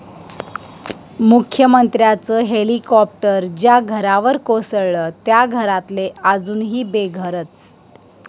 मुख्यमंत्र्यांचं हेलिकाॅप्टर 'ज्या' घरावर कोसळलं, 'त्या' घरातले अजूनही बेघरच!